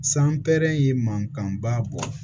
San pɛrɛ in ye mankanba bɔ